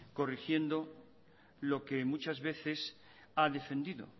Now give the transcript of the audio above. corrigiendo lo que muchas veces ha defendido